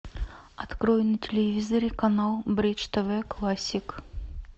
открой на телевизоре канал бридж тв классик